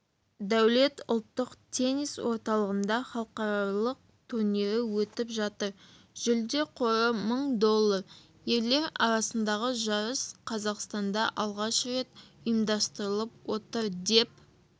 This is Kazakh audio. дәулет ұлттық теннис орталығында халықаралық турнирі өтіп жатыр жүлде қоры мың доллар ерлер арасындағы жарыс қазақстанда алғаш рет ұйымдастырылып отыр деп